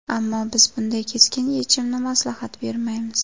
Ammo, biz bunday keskin yechimni maslahat bermaymiz.